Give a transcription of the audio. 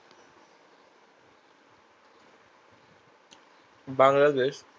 Bangladesh